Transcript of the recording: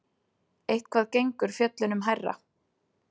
Eitthvað gengur fjöllunum hærra